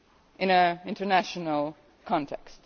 in an international context.